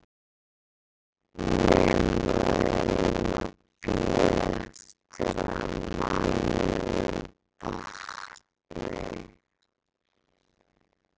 Nema við eigum að bíða eftir að manninum batni!